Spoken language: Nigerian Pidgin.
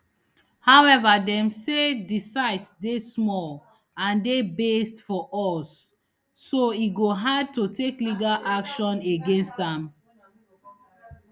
however dem say di site dey small and dey based for us so e go hard to take legal action against am